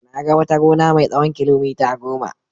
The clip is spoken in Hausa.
Na ga wata gona mai tsawon kilomita goma.